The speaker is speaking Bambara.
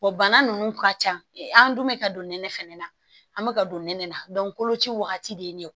bana ninnu ka ca an dun bɛ ka don nɛnɛ fana na an bɛ ka don nɛnɛ na koloci wagati de ye ne ye